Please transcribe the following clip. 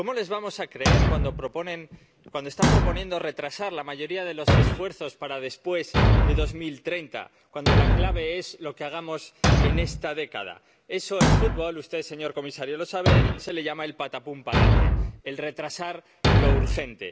¿Cómo les vamos a creer cuando están proponiendo retrasar la mayoría de los esfuerzos para después de 2030, cuando la clave es lo que hagamos en esta década? A eso, en fútbol —usted, señor comisario, lo sabe— se le llama el patapúm palante el retrasar lo urgente.